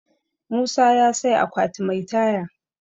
musa ya sai akwati Mai Taya